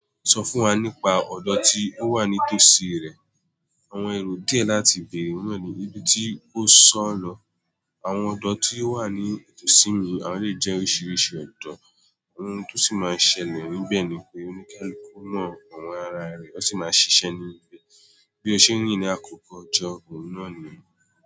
Sọ fún wa nípa ọ̀dọ̀ tí ó wà ní tòsí rẹ̀. Àwọn èrò díẹ̀ láti bèèrè wọ́n ni, ibi tí ó sọ̀ ọ́ lọ. Àwọn ọ̀dọ̀ tí ó wà ní tòsí mi, àwọn lè jẹ́ oríṣiríṣi ọ̀dọ̀. Ohun tó sì máa ń ṣẹlẹ̀ níbẹ̀ ni pé oníkálùkù mọọ iwọn ará rẹ̀ ó sì máa ń ṣiṣẹ́ ní ibẹ̀. Bí ó ṣe ń rí ni àkókò ọjọ́ òun náà ni.